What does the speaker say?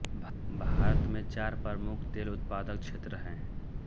भारत में चार प्रमुख तेल उत्पादक क्षेत्र हैं